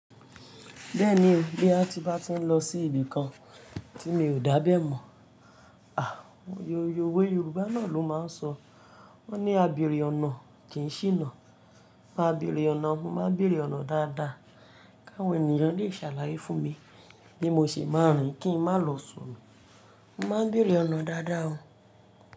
Bẹ́ẹ̀ni, bí a bá tí ń lọ sí ibì kan tí mi ò dábẹ́ mọ̀, àh, oyè owó Yorùbá náà ló máa ń sọ. Wọ́n ní "A bere ọ̀nà kì í ṣíná". Máa bere ọ̀nà, mo máa bere ọ̀nà dáadáa. Káwọn ènìyàn lè ṣàlàyé fún mi bí mo ṣe máa rìn kí n má lọ sọnù. Mo máa bere ọ̀nà dáadáa o.